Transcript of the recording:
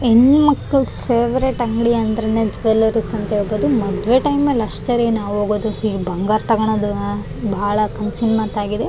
ಹೆಣುಮಕ್ಳು favourite ಅಂಗ್ಡಿ ಅಂದ್ರೆನೆ jewelleries ಅಂತ ಹೇಳ್ಬಹುದು ಮದುವೆ ಟೈಮ್ ಅಲ್ಲಿ ಅಷ್ಟೆ ರಿ ನಾವು ಹೋಗೋದು ಈ ಬಂಗಾರ್ ತಗೊಳೋದ್ ಬಾಳ ಚಿನ್ನದ್ ಆಗಿದೆ.